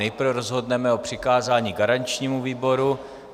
Nejprve rozhodneme o přikázání garančnímu výboru.